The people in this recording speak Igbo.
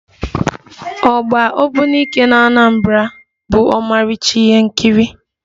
Ọgba ogbunike n'Anambra bụ ọmarịcha ihe nkiri